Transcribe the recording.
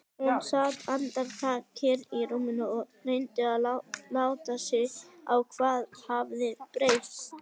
Hún sat andartak kyrr í rúminu og reyndi að átta sig á hvað hafði breyst.